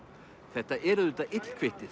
þetta er auðvitað